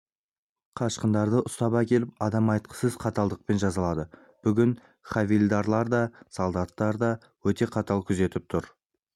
қашқындарды ұстап әкеліп адам айтқысыз қаталдықпен жазалады бүгін хавильдарлар да солдаттар да өте қатал күзетіп тұр